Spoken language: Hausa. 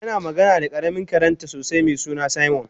tana magana da karamin karenta sosai mesuna simon